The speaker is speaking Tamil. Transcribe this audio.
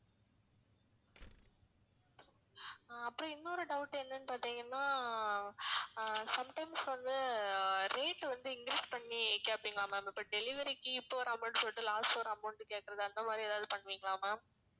ஆஹ் அப்பறம் இன்னொரு doubt என்னன்னு பாத்தீங்கன்னா ஆஹ் sometimes வந்து rate வந்து increase பண்ணி கேப்பீங்களா ma'am இப்போ delivery க்கு இப்போ ஒரு amount சொல்லிட்டு last ஒரு amount கேக்குறது அந்த மாதிரி எதாவது பண்ணுவீங்களா ma'am